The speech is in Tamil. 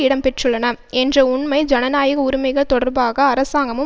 இடம்பெற்றுள்ளன என்ற உண்மை ஜனநாயக உரிமைகள் தொடர்பாக அரசாங்கமும்